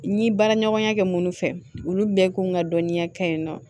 N ye baaraɲɔgɔnya kɛ minnu fɛ olu bɛɛ k'u ka dɔnniya kɛ yen nɔ